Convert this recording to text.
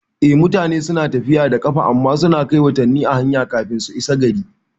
Eh, mutane suna tafiya da ƙafa amma suna kai watanni a hanya kafin su isa gari